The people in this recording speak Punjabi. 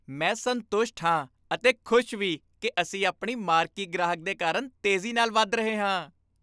ਮੈਂ ਸੰਤੁਸ਼ਟ ਹਾਂ ਅਤੇ ਖ਼ੁਸ਼ ਵੀ ਕਿ ਅਸੀਂ ਆਪਣੇ ਮਾਰਕੀ ਗ੍ਰਾਹਕ ਦੇ ਕਾਰਨ ਤੇਜ਼ੀ ਨਾਲ ਵੱਧ ਰਹੇ ਹਾਂ।